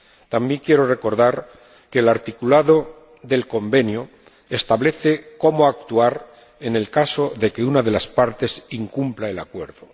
También quiero recordar que el articulado del Convenio establece cómo actuar en el caso de que una de las partes incumpla el Acuerdo.